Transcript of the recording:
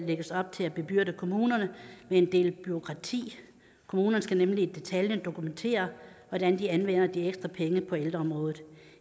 lægges op til at bebyrde kommunerne med en del bureaukrati kommunerne skal nemlig i detaljer dokumentere hvordan de anvender de ekstra penge på ældreområdet